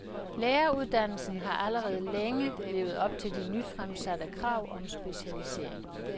Læreruddannelsen har allerede længe levet op til de nyfremsatte krav om specialisering.